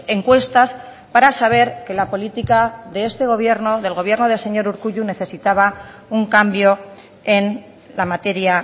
encuestas para saber que la política de este gobierno del gobierno del señor urkullu necesitaba un cambio en la materia